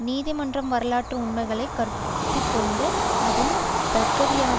நீதிமன்றம் வரலாற்று உண்மைகளை கருத்திற்கொண்டும் அதன் தர்க்கவியலாலும்